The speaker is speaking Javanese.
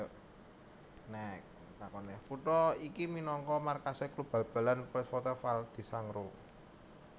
Kutha iki minangka markasé klub bal balan Polisportiva Val di Sangro